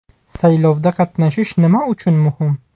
Saylovda qatnashish nima uchun muhim?